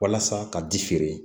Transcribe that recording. Walasa ka ji feere